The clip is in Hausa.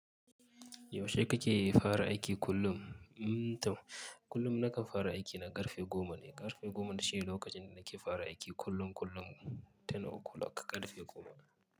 Yaushe kake fara aiki kullum? Mm tam, kullum nakan fara aiki na ƙarfe goma ne. Ƙarfe goma shi ne lokacin da nake fara aiki kullum kullum. Ten uku lok ƙarfe goma.